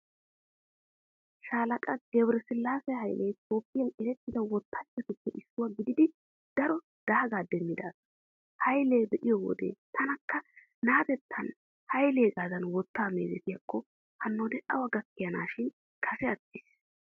Shaalaqa Gebiresillaase Haylee Toophphiyaa erettida wottanchchatuppe issuwa gididi daro daagaa demmida asa. Hayla be'iyo wode, taanikka naateettan Haylegaadan wottaa meezetiyaakko hanoodee awa gakkaneeshin, kase attiis.